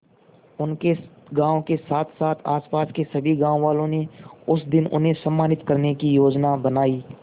उनके गांव के साथसाथ आसपास के सभी गांव वालों ने उस दिन उन्हें सम्मानित करने की योजना बनाई